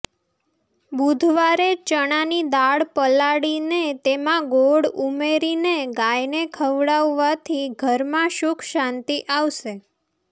બુધવારે ચણાની દાળ પલાડીને તેમાં ગોળ ઉમેરીને ગાયને ખવડાવવાથી ઘરમાં સુખ શાંતિ આવશે